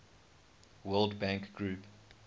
world bank group